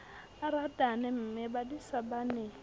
a ratane mmebadisana ba ne